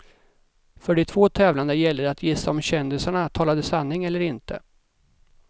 För de två tävlande gällde det att gissa om kändisarna talade sanning eller inte.